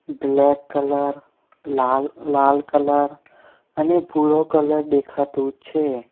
Black colour લાલ લાલ colour અને ભૂરો કલર દેખાતુ છે.